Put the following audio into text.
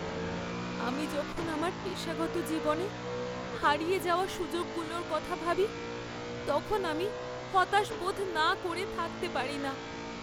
আমি যখন আমার পেশাগত জীবনে হারিয়ে যাওয়া সুযোগগুলোর কথা ভাবি তখন আমি হতাশ বোধ না করে থাকতে পারি না।